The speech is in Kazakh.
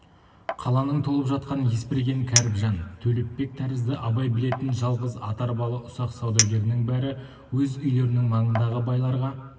қаланың толып жатқан есберген кәріпжан төлепбек тәрізді абай білетін жалғыз ат-арбалы ұсақ саудагерінің бәрі өз үйлерінің маңындағы байларға